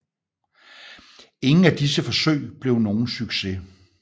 Ingen af disse forsøg blev nogen succes